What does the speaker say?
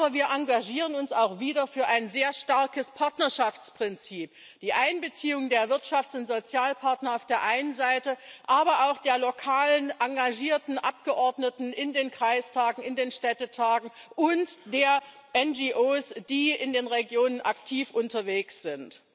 Aber wir engagieren uns auch wieder für ein sehr starkes Partnerschaftsprinzip die Einbeziehung der Wirtschafts und Sozialpartner auf der einen Seite, aber auch der lokalen engagierten Abgeordneten in den Kreistagen, in den Städtetagen, und der NGOs, die in den Regionen aktiv unterwegs sind.